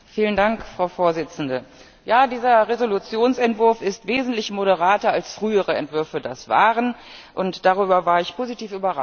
Frau Präsidentin! Ja, dieser Entschließungsentwurf ist wesentlich moderater als frühere Entwürfe das waren, und darüber war ich positiv überrascht.